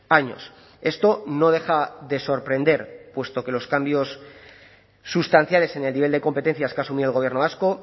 años esto no deja de sorprender puesto que los cambios sustanciales en el nivel de competencias que asumió el gobierno vasco